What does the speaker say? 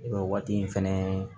waati in fɛnɛ